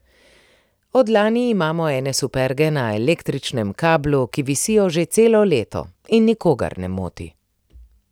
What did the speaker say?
Od lani imamo ene superge na električnem kablu, ki visijo že celo leto, in nikogar ne moti.